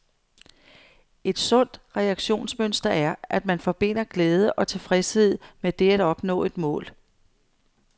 Et sundt reaktionsmønster er, at man forbinder glæde og tilfredshed med det at opnå et mål.